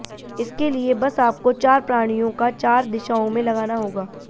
इसके लिए बस आपको चार प्राणियों का चार दिशाओं में लगाना होगा